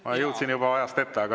Ma jõudsin ajas ette.